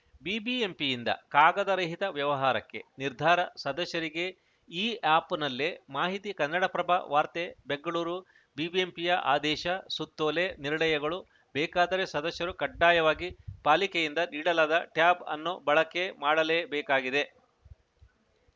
ಬಿಬಿಎಂಪಿಯಿಂದ ಕಾಗದ ರಹಿತ ವ್ಯವಹಾರಕ್ಕೆ ನಿರ್ಧಾರ ಸದಸ್ಯರಿಗೆ ಇಆ್ಯಪ್‌ನಲ್ಲೇ ಮಾಹಿತಿ ಕನ್ನಡಪ್ರಭ ವಾರ್ತೆ ಬೆಂಗಳೂರು ಬಿಬಿಎಂಪಿಯ ಅದೇಶ ಸುತ್ತೋಲೆ ನಿರ್ಣಯಗಳು ಬೇಕಾದರೆ ಸದಸ್ಯರು ಕಡ್ಡಾಯವಾಗಿ ಪಾಲಿಕೆಯಿಂದ ನೀಡಲಾದ ಟ್ಯಾಬ್‌ ಅನ್ನು ಬಳಕೆ ಮಾಡಲೇ ಬೇಕಾಗಿದೆ